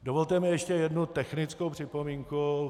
Dovolte mi ještě jednu technickou připomínku.